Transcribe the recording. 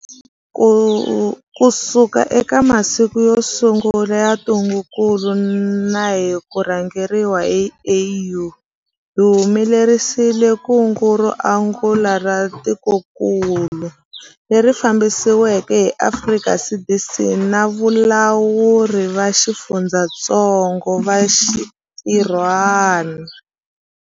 Kusuka eka masiku yo sungula ya ntungukulu na hi ku rhangeriwa hi AU, hi humelerisile kungu ro angula ra tikokulu, leri fambisiweke hi Afrika CDC na valawuri va xifundzatsongo va xintirhwana.